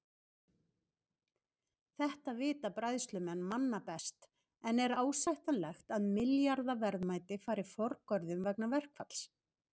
Þetta vita bræðslumenn manna best en er ásættanlegt að milljarða verðmæti fari forgörðum vegna verkfalls?